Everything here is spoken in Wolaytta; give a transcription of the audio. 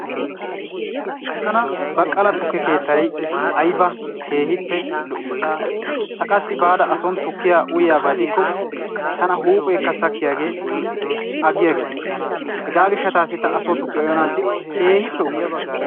Tana baqqala tukke keettayi ayba keehippe lo"ii! Ta qassi baada ason tukkiya uyiyaba gidikko tana huuphee sakkiyage aggiiges. Hegaa gishshaassi taani asoo tukkiya uyanaasdi keehippe ufayttayis.